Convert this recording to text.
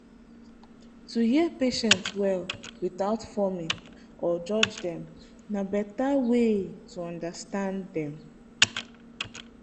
to hear patient well without forming or judge dem na better way to understand dem.